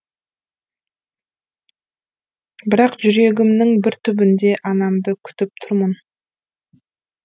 бірақ жүрегімнің бір түбінде анамды күтіп тұрмын